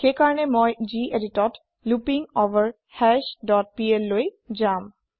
সেইকাৰণে মই geditত লুপিংগভাৰহাছ ডট plলৈ যাম